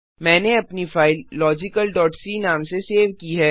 मैंने अपनी फ़ाइल logicalसी नाम से सेव की है